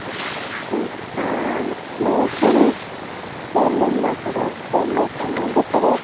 সামনে একটি আ ম মানে পুরুষ দেখা যাচ্ছে যেখানে ভেতরে --